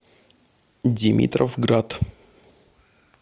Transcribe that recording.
димитровград